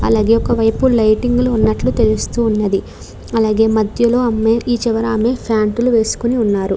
అలాగే ఒక వైపు లైటింగ్ లు ఉన్నట్లు తెలుస్తూ ఉన్నది అలాగే మద్యలో అమ్మాయి ఈ చివరామే ఫాంట్ లు వేసుకొని ఉన్నారు.